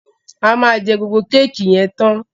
A ma jé gbógbó Kéèkì yen tán.